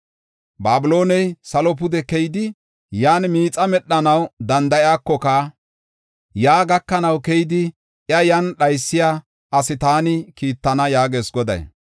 Babilooney salo pude keyidi, yan miixa medhanaw danda7iyakoka, yaa gakanaw keyidi, iya yan dhaysiya asi taani kiittana” yaagees Goday.